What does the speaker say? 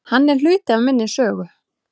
Hann er hluti af minni sögu.